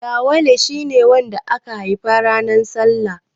Yawale shi ne wanda aka haifa ranar salla.